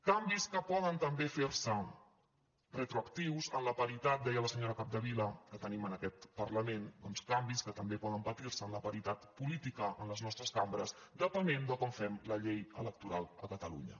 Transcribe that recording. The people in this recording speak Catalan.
canvis que poden també fer·se retroac·tius en la paritat deia la senyora capdevila que tenim en aquest parlament doncs canvis que també poden patir·se en la paritat política en les nostres cambres depenent de com fem la llei electoral a catalunya